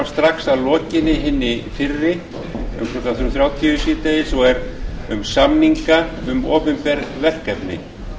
strax að lokinni hinni fyrri um klukkan þrjú þrjátíu síðdegis og er um samninga um opinber verkefni